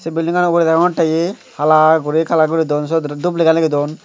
sey belidingano ugurey degongttey hi hala guri kalar guri don siyot aro dup lega legi don.